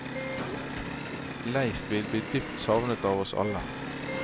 Leif vil bli dypt savnet av oss alle.